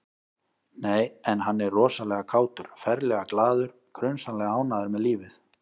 Nei, en hann er rosalega kátur, ferlega glaður, grunsamlega ánægður með lífið